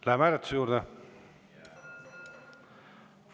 Läheme hääletuse juurde?